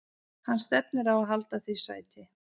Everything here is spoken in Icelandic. Hann stefnir á að halda því sæti.